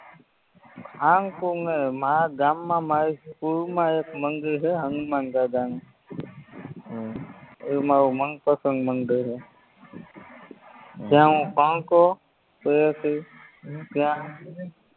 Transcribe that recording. સારંગપુર નય મારા ગામમાં મારી સ્કૂલમાં એક મંદિર હે હનુમાનદાદાનું હમ ઇ મારું મનપસંદ મંદિર હે હમ જ્યાં હું ભણતો ત્યાં